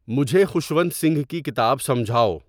مجھے خوشونت سنگھ کی کتاب سمجھاؤ